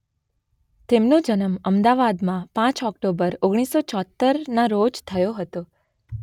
તેમનો જન્મ અમદાવાદમાં પાંચ ઓક્ટોબર ઓગણીસો ચુમોતેરના રોજ થયો હતો.